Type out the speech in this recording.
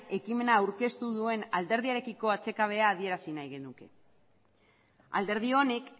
ekimena aurkeztu duen alderdiarekiko atsekabea adierazi nahi genuke alderdi honek